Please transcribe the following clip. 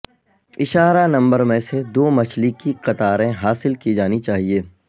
اشارہ نمبر میں سے دو مچھلی کی قطاریں حاصل کی جانی چاہئے